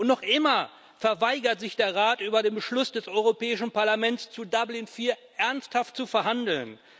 Noch immer weigert sich der Rat, über den Beschluss des Europäischen Parlaments zur Dublin IV Verordnung ernsthaft zu verhandeln.